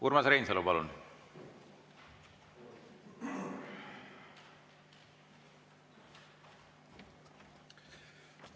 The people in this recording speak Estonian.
Urmas Reinsalu, palun!